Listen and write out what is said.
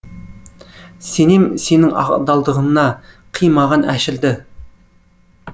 сенем сенің адалдығына қи маған әшірді